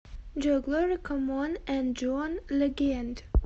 джой глори коммон энд джон легенд